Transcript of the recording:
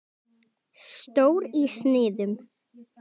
Stór í sniðum.